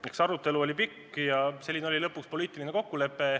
Meie arutelu oli pikk ja selline oli lõpuks poliitiline kokkulepe.